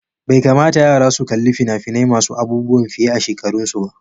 Bai kamata yara su kalli fina-finai masu aubuwan fiye a shekarun su ba.